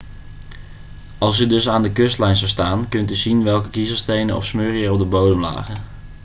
als u dus aan de kustlijn zou staan kunt u zien welke kiezelstenen of smurrie er op de bodem lagen